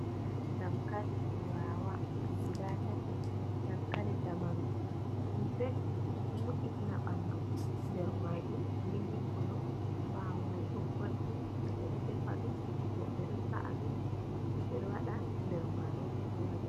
Dankali turawa guda tati. Dankali zamanu, ɗum belɗum, ɗum ɗo mo’itina ɓandu. Nder maajum milik kolo, ɓaawo mai bo goldin. Ɓe ɗo defa ɗum, woɓɓe ɗo sa’a ɗum, woɓɓe ɗo waɗa nder maarori haurabe.